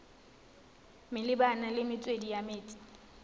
malebana le metswedi ya metsi